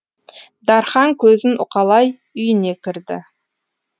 дархан көзін уқалай үйіне кірді